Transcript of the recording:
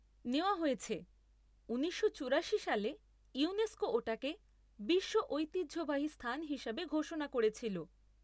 নেওয়া হয়েছে, উনিশশো চুরাশি সালে ইউনেস্কো ওটাকে বিশ্ব ঐতিহ্যবাহী স্থান হিসাবে ঘোষণা করেছিল।